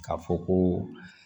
K'a fɔ ko